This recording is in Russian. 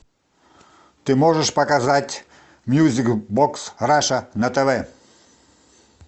ты можешь показать мьюзик бокс раша на тв